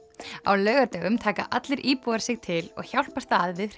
á laugardögum taka allir íbúar sig til og hjálpast að við